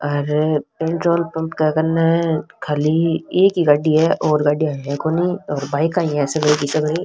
अरे petrol pump के कने खाली एक ही गाड़ी है और गाड़ीया है कोनी और बाईका ही है सगली की सगली।